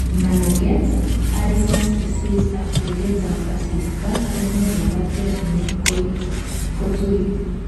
managet, Addison's disease ak beleet ab asista koyoe makatet ngung kotuit